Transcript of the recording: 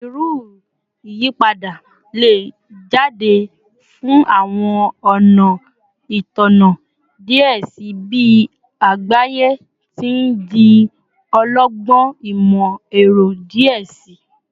Bereau iyipada le jade fun awọn ọna Itanna diẹ sii bi agbaye ti n di ọlọgbọn imọ-ẹrọ diẹ sii